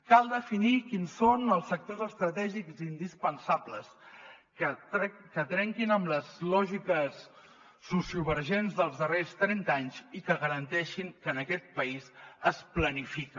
cal definir quins són els sectors estratègics i indispensables que trenquin amb les lògiques sociovergents dels darrers trenta anys i que garanteixin que en aquest país es planifica